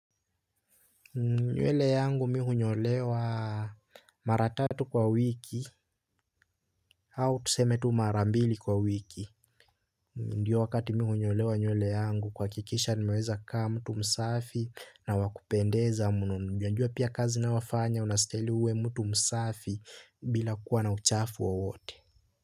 Nywele yangu mimi hunyolewa mara tatu kwa wiki au tuseme tu mara mbili kwa wiki. Ndiyo wakati mimi hunyolewa nywele yangu kuhakikisha nimeweza kaa mtu msafi na wa kupendeza mno. Najua pia kazi ninayofanya unastahili uwe mtu msafi bila kuwa na uchafu wowote.